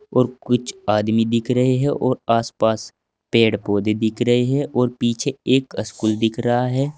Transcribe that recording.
और कुछ आदमी दिख रहे है और आसपास पेड़ पौधे दिख रहे है और पीछे एक स्कूल दिख रहा है।